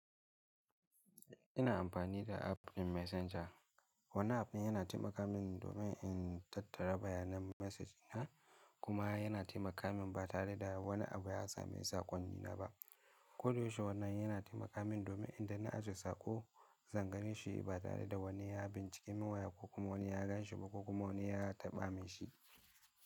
Ina amfani da app ɗin Messenger. Wannan app ɗin yana taimaka min domin in tattara bayanan message na kuma yana taimaka min ba tare da wani abu ya sami saƙonni na ba. Koda yaushe wannan yana taimaka min domin in da na ajiye saƙo, zan gani shi ba tare da wani ya bin ciki miya wa ya kuma wani ya gan shi ba kuma wani ya taɓa min shi.